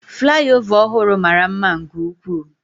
Flyover ọhụrụ mara mma nke ukwuu.